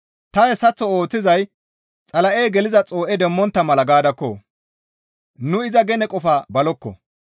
Ta hessaththo ooththizay Xala7ey geliza xoo7e demmontta mala gaadakko! Nuni iza gene qofaa balokko.